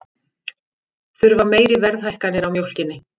Þurfa meiri verðhækkanir á mjólkinni